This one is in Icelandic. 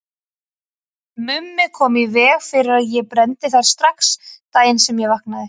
Mummi kom í veg fyrir að ég brenndi þær strax daginn sem ég vaknaði.